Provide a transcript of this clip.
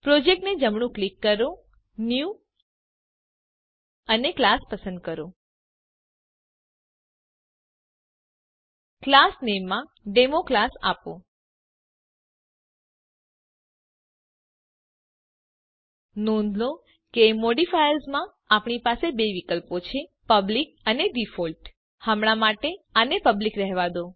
project ને જમણું click કરો ન્યૂ અને ક્લાસ પસંદ કરો ક્લાસ નામે માં ડેમોક્લાસ આપો નોંધ લો કે મોડિફાયર્સ માં આપણી પાસે બે વિકલ્પો છે પબ્લિક અને ડિફોલ્ટ હમણાં માટે આને પબ્લિક રહેવા દો